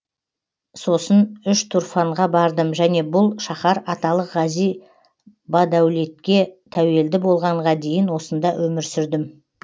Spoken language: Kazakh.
сосын үштұрфанға бардым және бұл шаһар аталық ғази бадәулетке тәуелді болғанға дейін осында өмір сүрдім